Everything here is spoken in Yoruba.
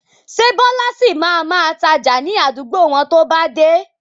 Ṣé Bọlá sì máa ma tája ni àdúgbò wọn to bá dé?